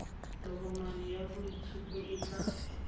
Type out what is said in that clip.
tokomane ya boitshupo e tla